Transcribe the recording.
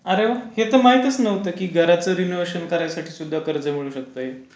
अरे वाह! हे तर महतीच नव्हता घरच्या रिनोव्हेशन साठी कर्ज मिळू शकता.